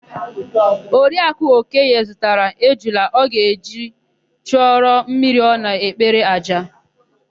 Oriakụ Okoye zụtara ejula ọ ga-eji chụọrọ mmiri ọ na-ekpere àjà.